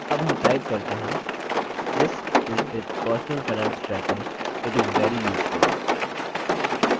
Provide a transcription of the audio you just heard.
अब हम type करते हैंthis is a personal finance tracker it is very useful